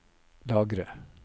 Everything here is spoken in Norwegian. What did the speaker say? lagre